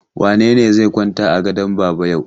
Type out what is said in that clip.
Wane ne zai kwanta a gadon baba yau?